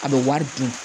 A bɛ wari di